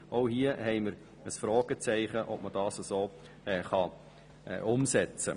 Auch hier haben wir ein Fragezeichen bezüglich der Umsetzbarkeit.